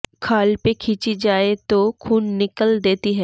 খাল পে খিঁচি যায়ে তো খুন নিকল দেতি হ্যয়